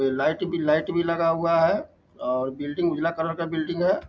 ए light भी light भी लगा हुआ है और बिल्डिंग उजला कलर का बिल्डिंग है।